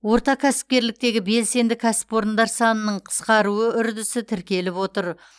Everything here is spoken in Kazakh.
орта кәсіпкерліктегі белсенді кәсіпорындар санының қысқаруы үрдісі тіркеліп отыр